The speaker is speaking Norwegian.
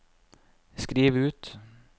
skriv ut